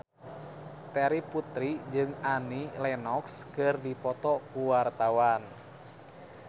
Terry Putri jeung Annie Lenox keur dipoto ku wartawan